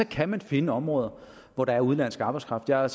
kan man finde områder hvor der er udenlandsk arbejdskraft jeg